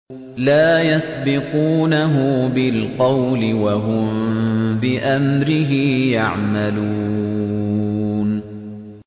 لَا يَسْبِقُونَهُ بِالْقَوْلِ وَهُم بِأَمْرِهِ يَعْمَلُونَ